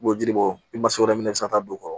U b'o jiri bɔ wɛrɛ minɛ i bɛ se ka taa don o kɔrɔ